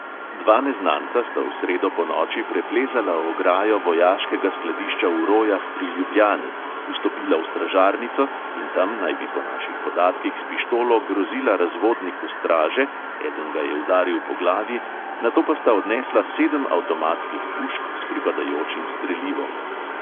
Dva neznanca sta v sredo ponoči preplezala ograjo vojaškega skladišča v rojah pri ljubljani, vstopila v stražarnico in tam naj bi po naših podatkih s pištolo grozila razvodniku straže, eden ga je udaril po glavi, nato pa sta odnesla sedem avtomatskih pušk s pripadajočim strelivom.